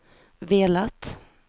velat